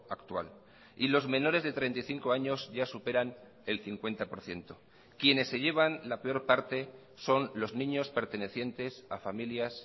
actual y los menores de treinta y cinco años ya superan el cincuenta por ciento quienes se llevan la peor parte son los niños pertenecientes a familias